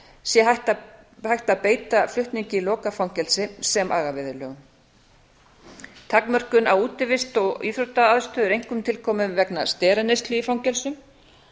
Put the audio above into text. sé hægt að beita flutningi í lokað fangelsi sem agaviðurlögum takmörkun á útivist og íþróttaaðstöðu er einkum tilkomið vegna steraneyslu í fangelsum